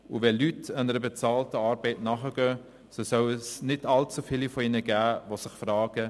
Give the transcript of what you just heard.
Gehen Leute einer bezahlten Arbeit nach, soll es nicht allzu viele von ihnen geben, die sich fragen: